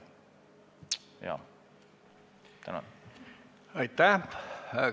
Aitäh!